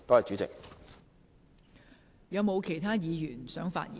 是否有其他議員想發言？